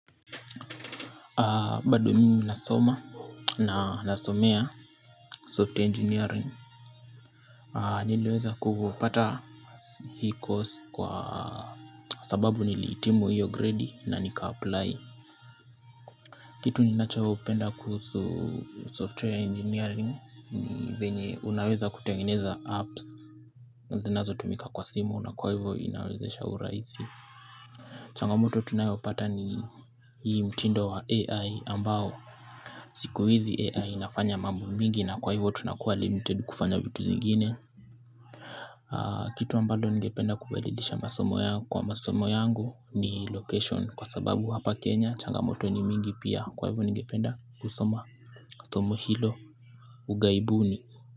Bado mimi nasoma na nasomea software engineering. Nileweza kupata hii course kwa sababu nilihitimu hiyo grade na nika apply. Kitu ninachopenda kuhusu software engineering ni venye unaweza kutengeneza apps zinazotumika kwa simu na kwa hivyo inawezesha urahisi. Changamoto tunayopata ni hii mtindo wa AI ambao siku hizi AI inafanya mambo mingi na kwa hivyo tunakuwa limited kufanya vitu zingine. Kitu ambalo ningependa kubadilisha kwa masomo yangu ni location kwa sababu hapa Kenya changamoto ni nyingi pia, kwa hivyo ningependa kusoma somo hilo ughaibuni.